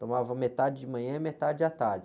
Tomava metade de manhã e metade à tarde.